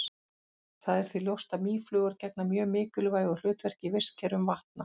Það er því ljóst að mýflugur gegna mjög mikilvægu hlutverki í vistkerfum vatna.